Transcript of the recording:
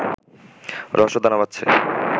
রহস্য দানা বাঁধছে